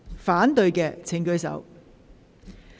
反對的請舉手。